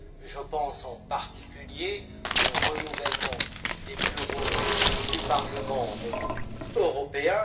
Je pense, en particulier, au renouvellement des bureaux du Parlement européen.